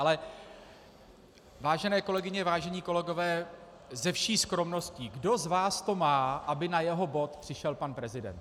Ale vážené kolegyně, vážení kolegové, se vší skromností, kdo z vás to má, aby na jeho bod přišel pan prezident?